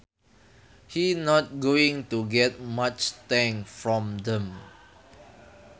He not going to get much thanks from them